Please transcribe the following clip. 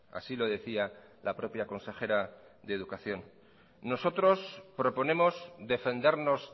así lo decía la propia consejera de educación nosotros proponemos defendernos